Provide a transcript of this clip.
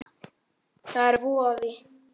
Það er voði